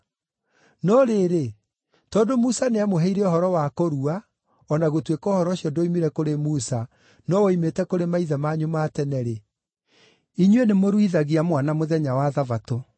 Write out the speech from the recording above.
No rĩrĩ, tondũ Musa nĩamũheire ũhoro wa kũrua (o na gũtuĩka ũhoro ũcio ndwoimire kũrĩ Musa, no woimĩte kũrĩ maithe manyu ma tene-rĩ), inyuĩ nĩ mũruithagia mwana mũthenya wa Thabatũ.